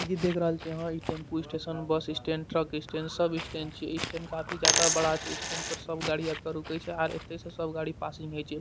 इ जो देख रहल छे यहां इ tempo station bus stand truck stand सब स्टैंड छे इ स्टेन काफी जादा बड़ा छे इ स्टेन पर सब गाड़ी आपका रुके छे आर एत्ते से सब गाड़ी पासिंग हय छे।